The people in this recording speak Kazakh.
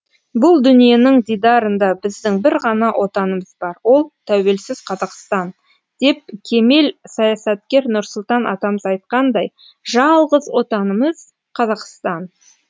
бұл дүниенің дидарында біздің бір ғана отанымыз бар ол тәуелсіз қазақстан деп кемел саясаткер нұрсұлтан атамыз айтқандай жалғыз отанымыз қазақстан